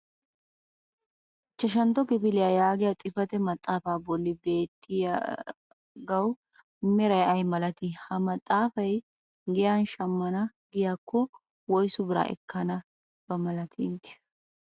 ichchashantto kifiliya yaagiya xifatee maxaafaa bolli beettiyagawu meray ayi malatii? ha maxaafay giyan shammana giyaakko woyssu biraa ekkanaba inteyo malatii?